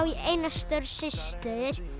ég eina stóra systur